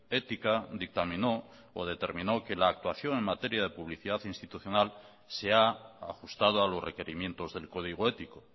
ética dictaminó o determinó que la actuación en materia de publicidad institucional se ha ajustado a los requerimientos del código ético